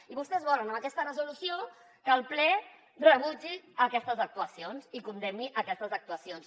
i vostès volen amb aquesta resolució que el ple rebutgi aquestes actuacions i condemni aquestes actuacions